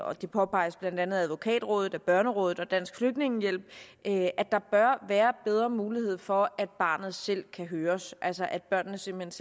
og det påpeges blandt andet af advokatrådet børnerådet og dansk flygtningehjælp at der bør være bedre mulighed for at barnet selv kan høres altså at barnet simpelt